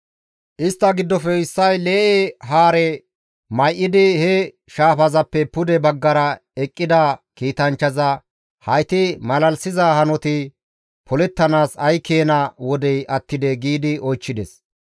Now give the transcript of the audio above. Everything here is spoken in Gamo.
Istta giddofe issay lee7e haare may7idi he shaafazappe pude baggara eqqida kiitanchchaza, «Hayti malalisiza hanoti polettanaas ay keena wodey attidee?» giidi oychchides.